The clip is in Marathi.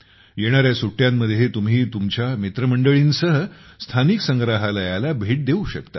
येणाऱ्या सुट्ट्यांमध्ये तुम्ही तुमच्या मित्रमंडळींसह स्थानिक संग्रहालयाला भेट देऊ शकता